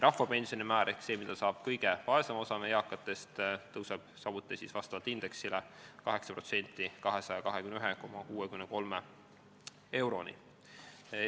Rahvapensioni määr ehk see, mida saab kõige vaesem osa meie eakatest, tõuseb samuti vastavalt indeksile 8% ehk 221,63 euroni.